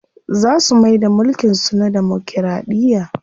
Za su maida mulkin su na damokiraɗiya.